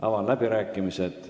Avan läbirääkimised.